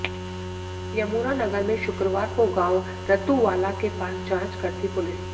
यमुनानगर में शुक्रवार को गांव रत्तुवाला के पास जांच करती पुलिस